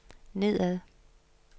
nedad